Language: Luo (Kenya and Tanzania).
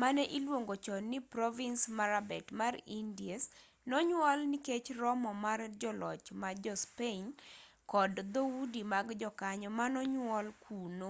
mane iluongo chon ni provins marabet mar indies nonyuol nikech romo mar joloch ma jo-spain kod dhoudi mag jokanyo manonyuol kuno